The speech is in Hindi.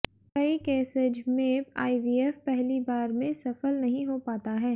कई कैसेज में आईवीएफ पहली बार में सफल नहीं हो पाता है